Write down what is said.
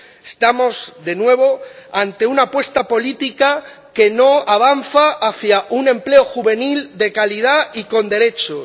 Estamos, de nuevo, ante una apuesta política que no avanza hacia un empleo juvenil de calidad y con derechos.